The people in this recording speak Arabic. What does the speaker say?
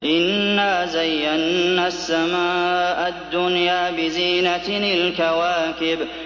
إِنَّا زَيَّنَّا السَّمَاءَ الدُّنْيَا بِزِينَةٍ الْكَوَاكِبِ